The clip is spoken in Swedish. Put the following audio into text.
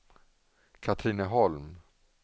Katrineholm